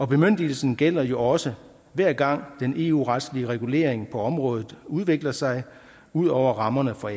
bemyndigelsen gælder jo også hver gang den eu retslige regulering på området udvikler sig ud over rammerne for